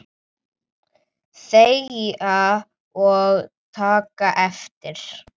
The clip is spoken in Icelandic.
Þegja og taka eftir!